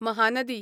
Mahanadi